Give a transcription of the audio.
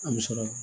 An bɛ sɔrɔ